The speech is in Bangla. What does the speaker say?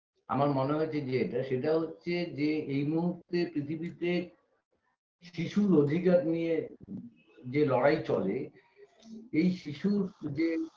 আমার মনে হয়েছে যেটা সেটা হচ্ছে যে এই মুহূর্তে পৃথিবীতে শিশুর অধিকার নিয়ে যে লড়াই চলে এই শিশুর যে